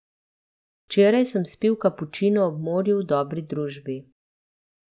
Včeraj sem spil kapučino ob morju v dobri družbi.